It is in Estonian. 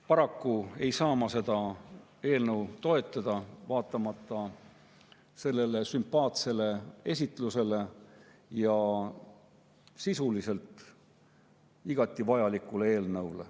Paraku ei saa ma seda eelnõu toetada, vaatamata sümpaatsele esitlusele ja sellele, et see on sisuliselt igati vajalik eelnõu.